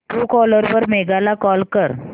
Truecaller वर मेघा ला call कर